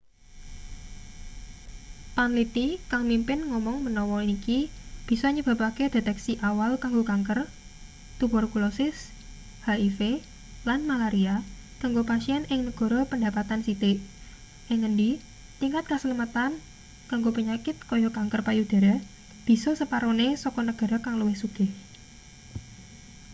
panliti kang mimpin ngomong menawa iki bisa nyebabake deteksi awal kanggo kanker tuberkulosis hiv lan malaria kanggo pasien ing negara pendapatan sithik ing ngendi tingkat kaslametan kanggo penyakit kaya kanker payudara bisa separone saka negara kang luwih sugih